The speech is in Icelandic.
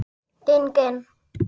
Geng inn.